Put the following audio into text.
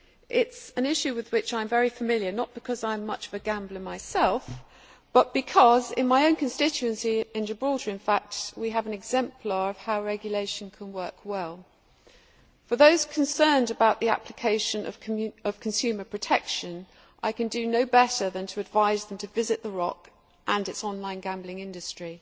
It is an issue with which I am very familiar, not because I am much of a gambler myself, but because in my own constituency in Gibraltar in fact we have an exemplar of how regulation can work well. For those concerned about the application of consumer protection, I can do no better than to advise them to visit the Rock and its online gambling industry.